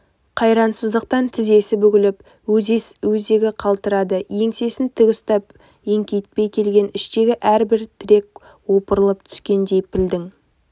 қайрансыздықтан тізесі бүгіліп өзегі қалтырады еңсесін тік ұстап еңкейтпей келген іштегі әлдебір тірек опырылып түскендей пілдің